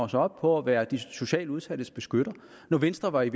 sig op på at være de socialt udsattes beskytter når venstre i